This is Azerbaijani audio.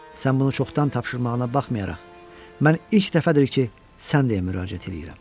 Sən bunu çoxdan tapşırmağına baxmayaraq, mən ilk dəfədir ki, sənə müraciət eləyirəm.